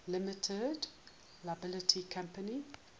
limited liability company